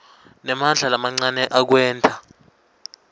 nemandla lamancane ekwenta